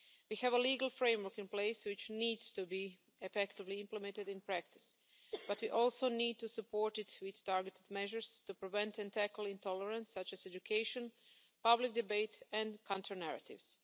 We have a legal framework in place which needs to be effectively implemented in practice, but we also need to support it with targeted measures to prevent and tackle intolerance, such as education, public debate and counter narratives.